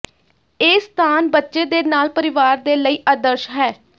ਇਹ ਸਥਾਨ ਬੱਚੇ ਦੇ ਨਾਲ ਪਰਿਵਾਰ ਦੇ ਲਈ ਆਦਰਸ਼ ਹੈ